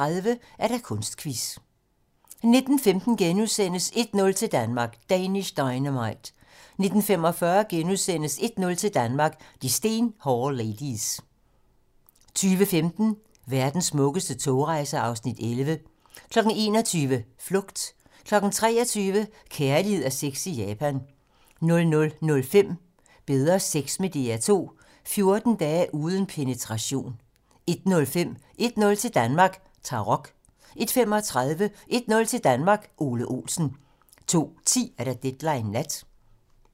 18:30: Kunstquiz 19:15: 1-0 til Danmark: Danish Dynamite * 19:45: 1-0 til Danmark: De stenhårde ladies * 20:15: Verdens smukkeste togrejser (Afs. 11) 21:00: Flugt 23:00: Kærlighed og sex i Japan 00:05: Bedre sex med DR2 - 14 dage uden penetration 01:05: 1-0 til Danmark: Tarok 01:35: 1-0 til Danmark: Ole Olsen 02:10: Deadline nat